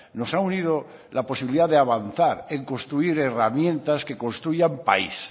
nos ha unido la posibilidad de avanzar en construir herramientas que construyan país